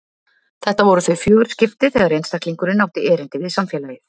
Þetta voru þau fjögur skipti þegar einstaklingurinn átti erindi við samfélagið.